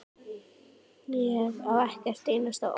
Ég á ekkert einasta orð.